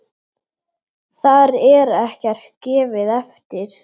Þar er ekkert gefið eftir.